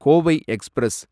Kovai express